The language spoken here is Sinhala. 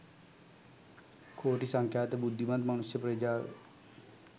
කෝටි සංඛ්‍යාත බුද්ධිමත් මනුෂ්‍ය ප්‍රජාව